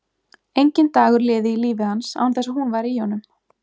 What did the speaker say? Enginn dagur liði í lífi hans án þess að hún væri í honum.